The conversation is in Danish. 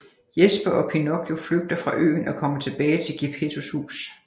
Jesper og Pinocchio flygter fra øen og kommer tilbage til Gepettos hus